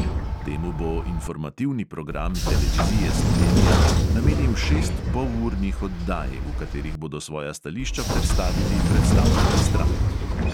Temu bo informativni program televizije slovenija namenil šest polurnih oddaj, v katerih bodo svoja stališča predstavili predstavniki strank.